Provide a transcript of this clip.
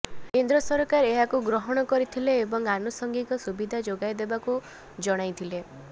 କେନ୍ଦ୍ର ସରକାର ଏହାକୁ ଗ୍ରହଣ କରିଥିଲେ ଏବଂ ଆନୁଷଙ୍ଗିକ ସୁବିଧା ଯୋଗାଇଦେବାକୁ ଜଣାଇଥିଲେ